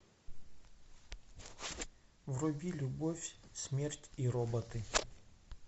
вруби любовь смерть и роботы